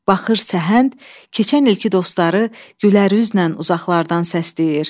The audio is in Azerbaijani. Baxır səhənd keçən ilki dostları gülərlə uzaqlardan səsləyir.